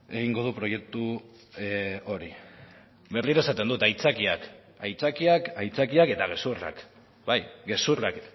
egingo du proiektu hori berriro esaten dut aitzakiak aitzakiak aitzakiak eta gezurrak bai gezurrak